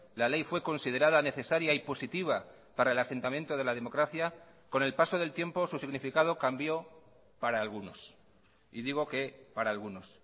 la ley fue considerada necesaria y positiva para el asentamiento de la democracia con el paso del tiempo su significado cambió para algunos y digo que para algunos